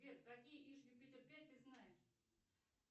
сбер какие иж юпитер пять ты знаешь